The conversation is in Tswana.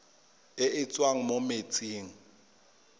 e e tswang mo metsing